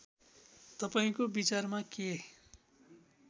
तपाईँको विचारमा के